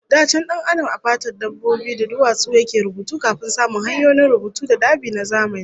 Da can Dan Adam a fatar dabbobi da duwatsu yake rubutu kafin samun hanyoyin rubutu da dab'i na zamani